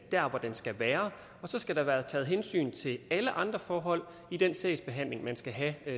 der hvor den skal være og så skal der være taget hensyn til alle andre forhold i den sagsbehandling man skal have